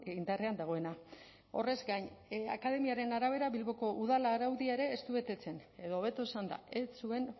indarrean dagoena horrez gain akademiaren arabera bilboko udal araudia ere ez du betetzen edo hobeto esanda ez zuen